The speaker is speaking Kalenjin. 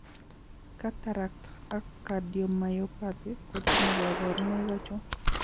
Cataract and cardiomyopathy kotinye kaborunoik achon?